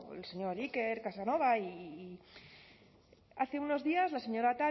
el señor iker casanova hace unos días la señora